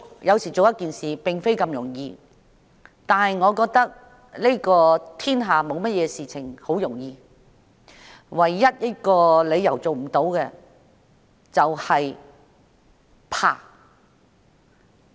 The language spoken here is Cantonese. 要做一件事情，並非那麼容易，但我認為天下沒有事情是容易的，唯有一個理由做不到，就是恐懼。